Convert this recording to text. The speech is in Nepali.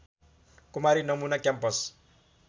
कुमारी नमुना क्याम्पस